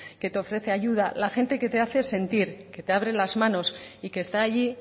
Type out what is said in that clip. que te ofrece ayuda la gente que te hace sentir que te abre las manos y que está allí